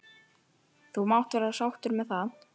. þú mátt vera sáttur með það.